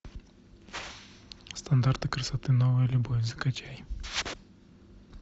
стандарты красоты новая любовь закачай